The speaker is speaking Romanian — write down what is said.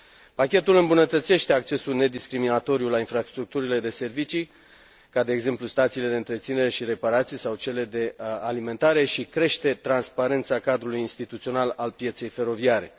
Pachetul îmbunătățește accesul nediscriminatoriu la infrastructurile de servicii, ca de exemplu, stațiile de întreținere și reparații sau cele de alimentare, și crește transparența cadrului instituțional al pieței feroviare.